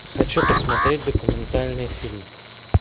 хочу посмотреть документальный фильм